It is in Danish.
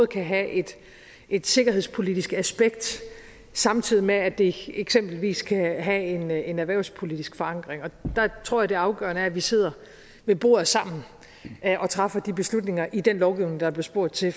kan have et et sikkerhedspolitisk aspekt samtidig med at det eksempelvis kan have en erhvervspolitisk forankring der tror jeg at det afgørende er at vi sidder ved bordet sammen og træffer de beslutninger i den lovgivning der blev spurgt til